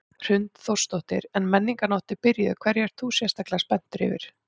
Hrund Þórsdóttir: En Menningarnótt er byrjuð, hverju ert þú sérstaklega spenntur yfir?